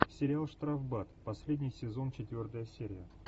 сериал штрафбат последний сезон четвертая серия